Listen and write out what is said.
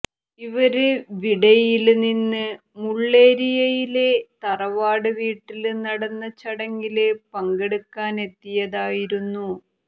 ഇവര് വിടഌയില് നിന്ന് മുള്ളേരിയയിലെ തറവാട് വീട്ടില് നടന്ന ചടങ്ങില് പങ്കെടുക്കാനെത്തിയതായിരുന്നു